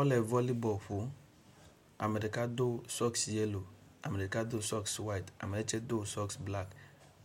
Amewo le volley ball ƒom, ame ɖeka do socks yellow ame ɖeka do socks white ame ɖeka tse do socks black